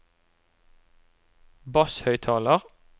basshøyttaler